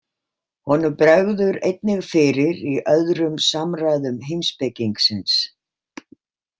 Honum bregður einnig fyrir í öðrum samræðum heimspekingsins.